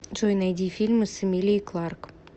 джой найди фильмы с эмилией кларк